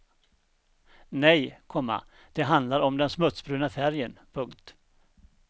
Nej, komma det handlar om den smutsbruna färgen. punkt